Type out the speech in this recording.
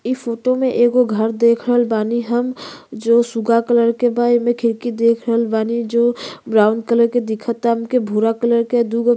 इ फोटो में एगो घर देख रहल बानी हम जो सुगा कलर के बा। एमे खिड़की देख रहल बानी जो ब्राउन कलर के दिखता। हमके भूरा कलर के दुगो --